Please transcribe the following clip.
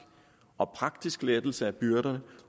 og praktisk lettelse af byrder